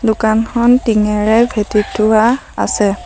দোকানখন টিংঙেৰে ভেঁটি থোৱা আছে।